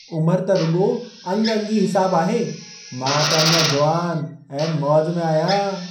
उमरि त रुॻो अंग-अंगी हिसाबु आहे। मां त अञा जुवान ऐं मौज में आहियां।